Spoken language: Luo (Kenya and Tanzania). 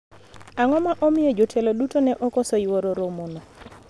ang'o ma omiyo jotelo duto ne okoso yuoro romo no